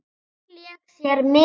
Mangi lék sér með.